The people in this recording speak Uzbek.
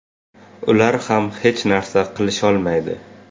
Ular ham hech narsa qilisholmaydi.